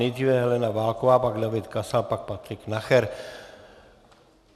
Nejdříve Helena Válková, pak David Kasal, pak Patrik Nacher.